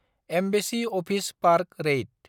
embassy office park रेइत